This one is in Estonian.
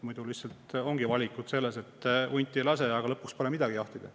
Muidu lihtsalt ongi see valik, et hunti ei lase, aga lõpuks pole midagi jahtida.